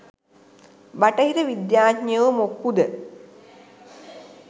බටහිර විද්‍යාඥයො මොක්කුද?